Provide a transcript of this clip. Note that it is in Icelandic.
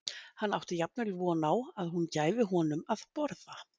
Hann átti jafnvel von á að hún gæfi honum að borða.